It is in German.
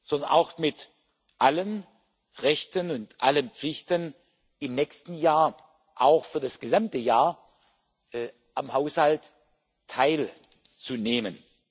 sondern mit allen Rechten und allen Pflichten im nächsten Jahr auch für das gesamte Jahr am Haushalt teilzunehmen.